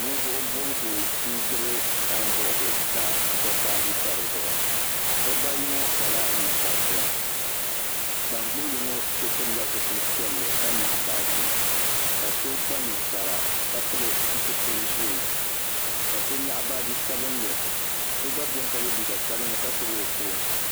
ninvuɣu bobgu n gbubi sanbood ka dabba ayi pa dizuɣu dabba ayi ŋɔ kpala ninkpariti ban gbubili ŋɔ so pilila zipili piɛlli ka nyaɣa baaji ka so kpa ninkpara ka pili zipili ʒiɛ ka so nyaɣa baaji sabinli so gba biɛni ka yɛ liiga sabinli ka gbubi o foon